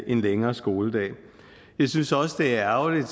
en længere skoledag jeg synes også det er ærgerligt at